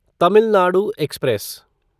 Tamil Nadu express